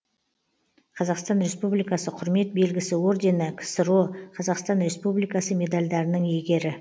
қазақстан республикасы құрмет белгісі ордені ксро қазақстан республикасы медальдарының иегері